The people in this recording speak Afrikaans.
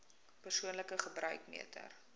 persoonlike gebruik meter